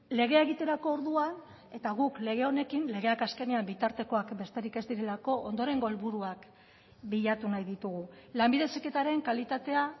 legea egiterako orduan eta guk lege honekin legeak azkenean bitartekoak besterik ez direlako ondorengo helburuak bilatu nahi ditugu lanbide heziketaren kalitatea